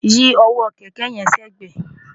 yí ọwọ́ kẹ̀kẹ́ yẹn sẹ́gbẹ̀ẹ̀!